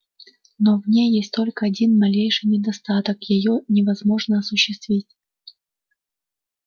но в ней есть только один малейший недостаток её невозможно осуществить